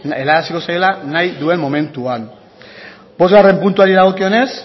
zaiola nahi duen momentuan bostgarren puntuari dagokionez